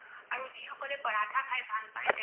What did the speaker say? আৰু যিসকলে পৰাঠা খাই ভাল পায় তেওঁলোকে